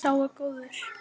Sá er góður.